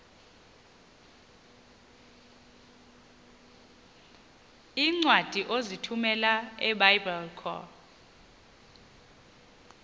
iincwadi ozithumela ebiblecor